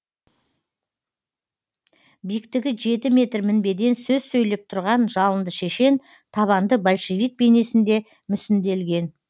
биіктігі жеті метр мінбеден сөз сөйлеп тұрған жалынды шешен табанды большевик бейнесінде мүсінделген